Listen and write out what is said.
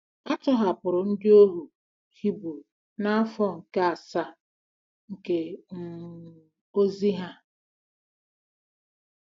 A tọhapụrụ ndị ohu Hibru n'afọ nke asaa nke um ozi ha.